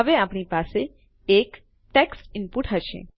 હવે આપણી પાસે એક ટેક્સ્ટ ઈનપુટ હશે